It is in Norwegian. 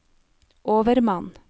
overmann